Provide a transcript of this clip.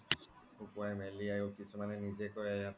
সুকিয়াই মেলিয়াইও কিছুমানে নিজে কৰে